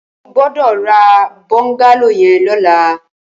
Ó gbọdọ rà bọngàló yèn lọ̀lá